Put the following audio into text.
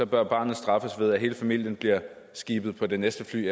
bør barnet straffes ved at hele familien bliver skibet på det næste fly